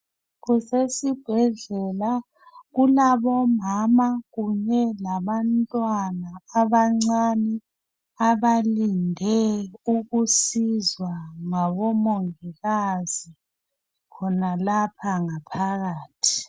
Kusesibhedlela, kunabomama kunye labantwana abancane, abalinde ukusizwa ngabomongikazi khonalapha ngaphakathi.